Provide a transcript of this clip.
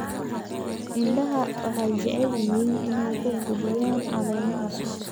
Idaha waxay jecel yihiin inay ku quudiyaan caleemo cusub.